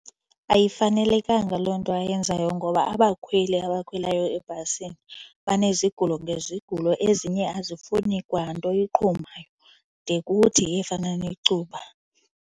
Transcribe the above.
Ayifanelekanga loo nto ayenzayo ngoba abakhweli abakhwelayo ebhasini banezigulo ngezigulo. Ezinye azifuni kwanto iqhumayo de kuthi efana necuba.